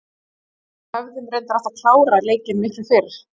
Við hefum reyndar átt að klára leikinn miklu fyrr.